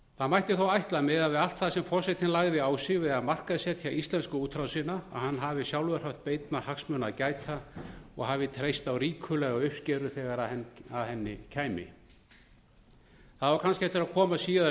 það mætti þó ætla að miðað við allt það sem forsetinn lagði á sig við að markaðssetja íslensku útrásina að hann hafi sjálfur haft beinna hagsmuna að gæta og hafi treyst á ríkulega uppskeru þegar að henni kæmi það á kannski eftir að koma síðar í